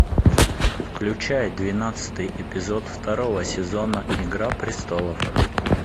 включай двенадцатый эпизод второго сезона игра престолов